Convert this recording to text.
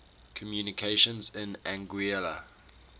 communications in anguilla